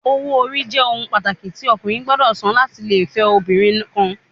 Owo ori jẹ ohun pataki ti ọkunrin gbọdọ san lati le fẹ obinrin kan